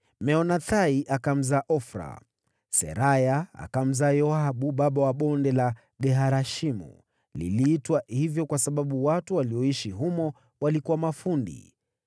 Meonathai akamzaa Ofra. Seraya akamzaa Yoabu, baba wa Ge-Harashimu. Liliitwa hivyo kwa sababu watu walioishi humo walikuwa mafundi.